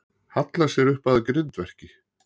Hallar sér upp að grindverki.